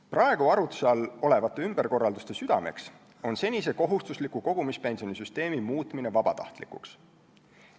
Praegu arutluse all olevate ümberkorralduste süda on senise kohustusliku kogumispensioni süsteemi muutmine vabatahtlikuks.